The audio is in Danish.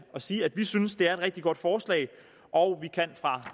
sige at vi synes det er et rigtig godt forslag og vi kan fra